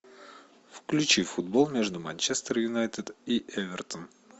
включи футбол между манчестер юнайтед и эвертон